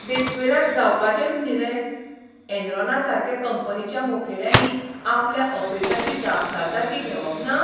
देस्पेराद जावपाचेंच न्ही रे, एनरॉनासारके कंपनीच्या मुखेल्यांनी आपल्या अपेसाची जापसालदारकी घेवप ना?